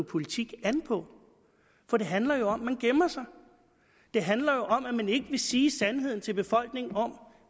politik an på for det handler jo om at man gemmer sig det handler om at man ikke vil sige sandheden til befolkningen om